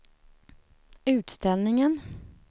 utställningen